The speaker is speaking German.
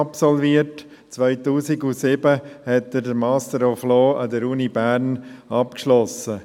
2007 schloss er den Master of Law an der Universität Bern ab.